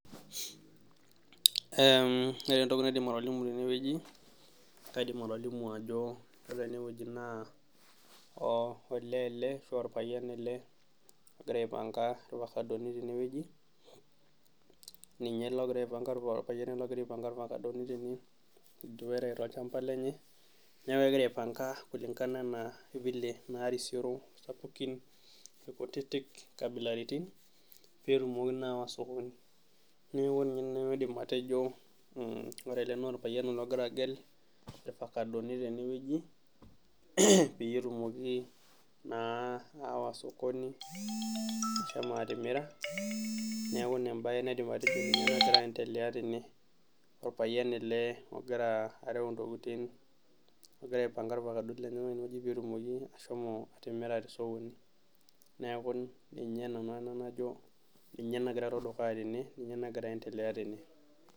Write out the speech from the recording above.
ore entoki naaidim atolimu tene wojii naa kaidim atolimu ajo ore ene woji naa olee ele ashuu olpayian ele ogira aipanka ilpasadoni tene woji ninye ele olpayian ele ogira aipanka ilpasadoni tene tolchampa lenye neeku kegira aipanka file anaa naarisioro sapukin ilkutitik inkabilaritin peetumoki naa ayawa sukul neeku kadim atejo ore ele naa olpayian ogira agel ilpakadoni tenewoji peyie etumokii naa ayawa sokoni ashomo atimira neeku ina embae naidim atejo tene nagira aentelea tene olpayian ele ogira areu intokitin ogira aipanga ilpakadoni lenyenak peetumoki ashomo atimira tosokoni neeku ninye nagira aentelea tene